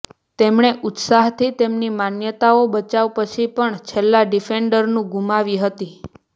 તેમણે ઉત્સાહથી તેમની માન્યતાઓ બચાવ પછી પણ છેલ્લા ડિફેન્ડરનું ગુમાવી હતી